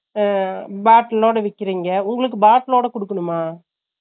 அஹ bottle இல்லாம விக்கிரிங்க உங்களுக்கு bottle லோட குடுக்குனுமா ?